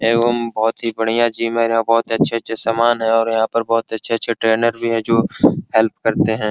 एगो बहुत ही बढ़िया जिमर है और बहुत अच्छे-अच्छे समान है बहुत अच्छे-अच्छे ट्रेनर है जो हेल्प करते है।